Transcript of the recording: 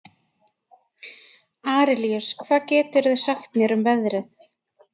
Arilíus, hvað geturðu sagt mér um veðrið?